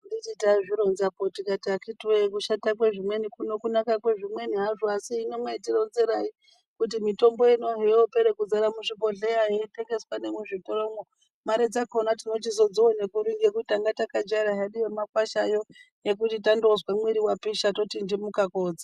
Handiti taiti tazvironzapo tikati akiti woye kushata kwezvimweni kuno kunaka kwezvimweni hazvo asi hino mai tironzerai kuti mitombo ino hoyoopere kudzara muzvibhohleya yeitengeswa nemuzvotoromwo, mare dzakona tinochizodzione kuri ngekuti tanga takajaira hedu yemakwashayo yekuti tandozwe mwiiri wapisha totindimuka kootsa.